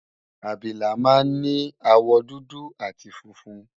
Abilà máa ń ní àwọ̀ dúdú àti funfun